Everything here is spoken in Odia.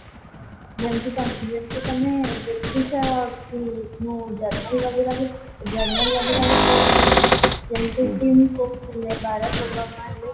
ଯେମତି ତ ଯେମତି ତମେ ଦେଖୁଛ କି ମୁଁ journal वगेरा ବି journal वगेरा ବି ପଢୁଥିଲି ଯେମିତି କିଙ୍ଗ କୋଗ ହେଲେ ବାରକ ଓବାମା ହେଲେ